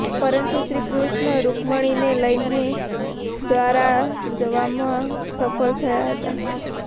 પરંતુ શ્રી કૃષ્ણ રુક્મણીને લઈને દ્વારા જવામાં સફળ થયા હતા